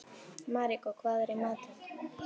Maríkó, hvað er í matinn?